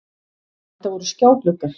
Þetta voru skjágluggar